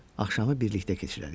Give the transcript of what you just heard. Axşamı birlikdə keçirərik.